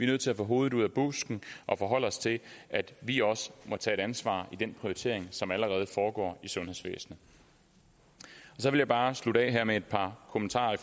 nødt til at få hovedet ud af busken og forholde os til at vi også må tage et ansvar i den prioritering som allerede foregår i sundhedsvæsenet så vil jeg bare slutte af her med et par kommentarer